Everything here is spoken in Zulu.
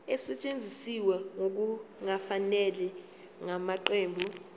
esetshenziswe ngokungafanele ngamaqembu